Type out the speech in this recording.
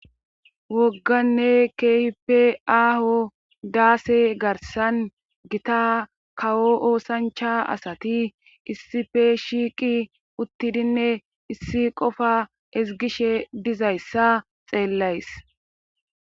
Wogganne kehippe aaho daase garsan gitta kawo oosanchcha asati issippe shiiqi uttidinne issi qofa ezgishshe dizayssa xeellays